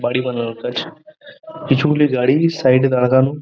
বাড়ি বানানোর কাজ কিছুগুলি গাড়ি সাইড -এ দারগান--